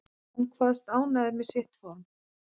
Hann kvaðst ánægður með sitt form